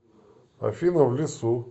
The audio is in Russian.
афина в лесу